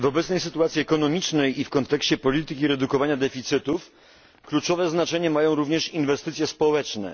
W obecnej sytuacji ekonomicznej i w kontekście polityki redukowania deficytów kluczowe znaczenie mają również inwestycje społeczne.